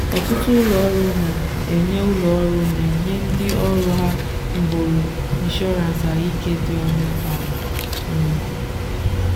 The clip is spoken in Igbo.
ọtụtụ ụlọọrụ na-enye ụlọọrụ na-enye ndị ọrụ ha nhọrọ inshọrans ahụike dị ọnụ ala. um